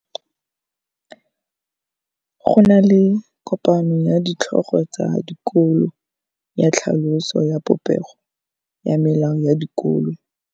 Go na le kopanô ya ditlhogo tsa dikolo ya tlhaloso ya popêgô ya melao ya dikolo.